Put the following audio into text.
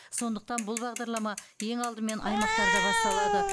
сондықтан бұл бағдарлама ең алдымен аймақтарда басталады